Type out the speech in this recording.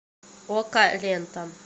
окко лента